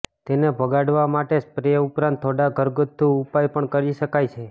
તેને ભગાડવા માટે સ્પ્રે ઉપરાંત થોડા ઘરગથ્થું ઉપાય પણ કરી શકાય છે